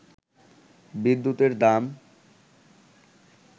বিদ্যুতের দাম